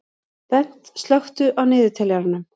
Bent, slökktu á niðurteljaranum.